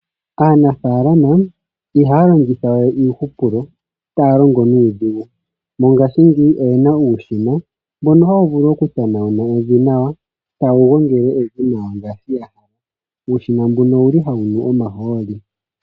Aanafalama ihaya longitha we iihupulo, ihaya longo nuudhigu. Mongashingeyi oyena uushina mboka hawu vulu oku tanauna evi nawa, tawu gongele evi nawa ngashi ya hala. uushina mbuka owuli ohawu nu omaholi.